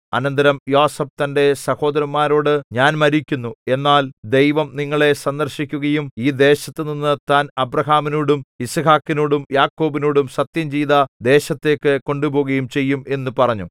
അനന്തരം യോസേഫ് തന്റെ സഹോദരന്മാരോട് ഞാൻ മരിക്കുന്നു എന്നാൽ ദൈവം നിങ്ങളെ സന്ദർശിക്കുകയും ഈ ദേശത്തുനിന്ന് താൻ അബ്രാഹാമിനോടും യിസ്ഹാക്കിനോടും യാക്കോബിനോടും സത്യംചെയ്ത ദേശത്തേക്ക് കൊണ്ടുപോകുകയും ചെയ്യും എന്നു പറഞ്ഞു